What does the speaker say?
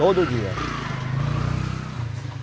Todo dia.